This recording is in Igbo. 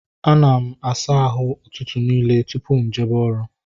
A na m asa ahụ ụtụtụ nille tupu m ejebe oru